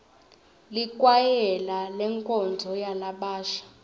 likwayela lenkonzo yalabasha